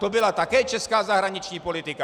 To byla také česká zahraniční politika.